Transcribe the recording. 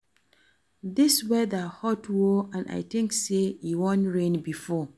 Dis weather hot oo and I think say e wan rain before